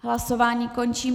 Hlasování končí.